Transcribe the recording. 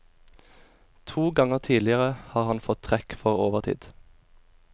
To ganger tidligere har han fått trekk for overtid.